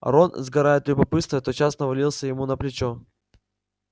рон сгорая от любопытства тотчас навалился ему на плечо